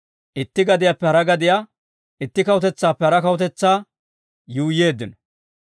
itti gadiyaappe hara gadiyaa, itti kawutetsaappe hara kawutetsaa yuuyyeeddino.